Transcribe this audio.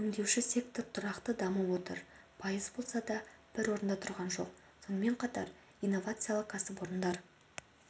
өңдеуші сектор тұрақты дамып отыр пайыз болса да бір орында тұрған жоқ сонымен қатар инновациялық кәсіпорындар